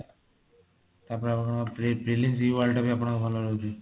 ତାପରେ ଆପଣଙ୍କର phillips world ଟା ବି ଆପଣଙ୍କର ଭଲ ରହୁଛି